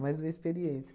Mais uma experiência.